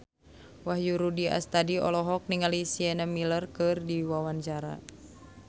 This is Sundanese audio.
Wahyu Rudi Astadi olohok ningali Sienna Miller keur diwawancara